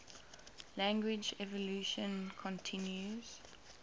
language evolution continues